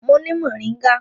Mo ni moringa.